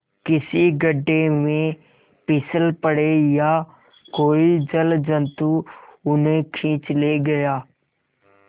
किसी गढ़े में फिसल पड़े या कोई जलजंतु उन्हें खींच ले गया